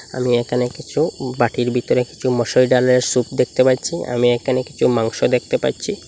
আমি একানে কিচু বাটির বিতরে কিচু মুসুরির ডালের স্যুপ দেখতে পাচ্চি আমি একানে কিচু মাংস দেখতে পাচ্চি ।